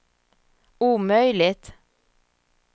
omöjligt